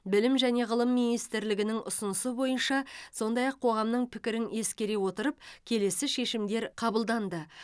білім және ғылым министрлігінің ұсынысы бойынша сондай ақ қоғамның пікірін ескере отырып келесі шешімдер қабылданды